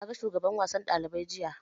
Na ga shugaban wasan ɗalibai jiya